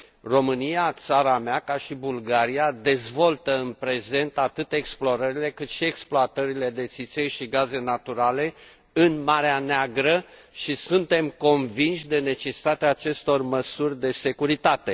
România, țara mea, ca și Bulgaria, dezvoltă în prezent atât explorările, cât și exploatările de țiței și gaze naturale în Marea Neagră și suntem convinși de necesitatea acestor măsuri de securitate.